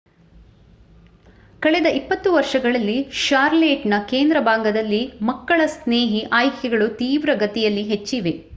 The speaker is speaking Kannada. ಕಳೆದ 20ವರ್ಷಗಳಲ್ಲಿ ಷಾರ್ಲೇಟ್ನ ಕೇಂದ್ರ ಭಾಗದಲ್ಲಿ ಮಕ್ಕಳ-ಸ್ನೇಹಿ ಆಯ್ಕೆಗಳು ತೀವ್ರಗತಿಯಲ್ಲಿ ಹೆಚ್ಚಿವೆ